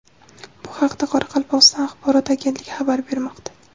Bu haqda Qoraqalpog‘iston axborot agentligi xabar bermoqda .